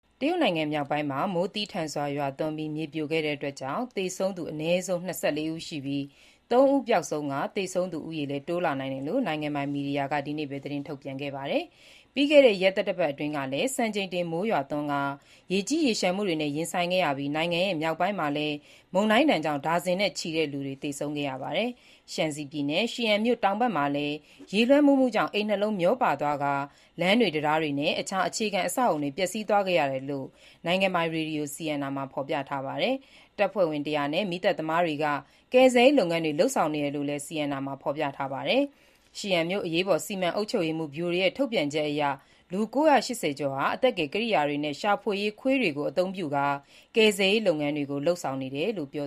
တရုတ်နိုင်ငံမြောက်ပိုင်းမှာ မိုးသည်းထန်စွာ ရွာသွန်းပြီး မြေပြိုခဲ့တဲ့အတွက်ကြောင့် သေဆုံးသူ အနည်းဆုံး ၂၄ ဦးရှိပြီး၊ ၃ ဦးပျောက်ဆုံးကာ သေဆုံးသူဦးရေ တိုးလာနိုင်တယ်လို့ နိုင်ငံပိုင် မီဒီယာက ဒီနေ့ပဲ ထုတ်ပြန်ခဲ့ပါတယ်။ ပြီးခဲ့တဲ့ ရက်သတ္တပတ်အတွင်းကလည်း စံချိန်တင်မိုးရွာသွန်းကာ ရေကြီးရေလျှံမှုတွေနဲ့ ရင်ဆိုင်ခဲ့ရပြီး၊ နိုင်ငံရဲ့ မြောက်ပိုင်းမှာလည်း မုန်တိုင်းဒဏ်ကြောင့် ဒါဇင်နဲ့ ချီတဲ့လူတွေ သေဆုံးခဲ့ရပါတယ်။ Shaanxi ပြည်နယ်၊ Xi'an မြို့တောင်ဘက် Weiziping ရွာမှာလည်း ရေလွှမ်းမိုးမှုကြောင့်အိမ်နှစ်လုံး မျောပါသွားကာ လမ်းတွေ၊ တံတားတွေနဲ့ အခြားအခြေခံအဆောက်အအုံတွေ ပျက်စီးသွားခဲ့ရတယ်လို့ နိုင်ငံပိုင်ရေဒီယို CNR မှာ ဖော်ပြထားပါတယ်။ ကယ်ဆယ်ရေးလုပ်ငန်းတွေမှာ တပ်ဖွဲ့ဝင် ၁၀၀ နဲ့ မီးသတ်တွေ ပါဝင်တယ်လို့လည်း CNR မှာဖော်ပြထားပါတယ်။ Xi'an မြို့ အရေးပေါ်စီမံအုပ်ချုပ်မှုဗျူရိုရဲ့ ထုတ်ပြန်ချက်အရ လူ ၉၈၀ ကျော်ဟာ ကယ်ဆယ်ရေးပစ္စည်းတွေ၊ ရှာဖွေရေးခွေးတွေကို အသုံးပြုကာ ကယ်ဆယ်ရေးလုပ်ငန်းတွေကို လုပ်ဆောင်နေတယ်လို့ ပြေ